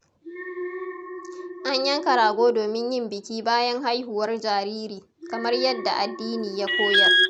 An yanka rago domin yin biki bayan haihuwar jariri, kamar yadda addini ya koyar.